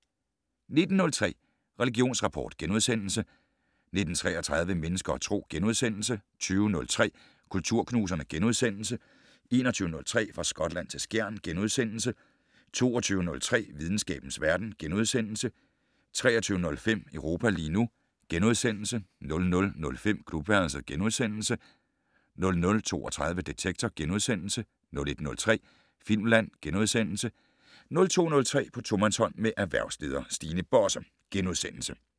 19:03: Religionsrapport * 19:33: Mennesker og Tro * 20:03: Kulturknuserne * 21:03: Fra Skotland til Skjern * 22:03: Videnskabens verden * 23:05: Europa lige nu * 00:05: Klubværelset * 00:32: Detektor * 01:03: Filmland * 02:03: På tomandshånd med erhvervsleder Stine Bosse *